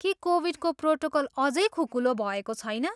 के कोभिडको प्रोटोकल अझै खुकुलो भएको छैन?